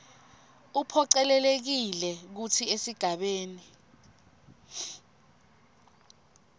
uphocelelekile kutsi esigabeni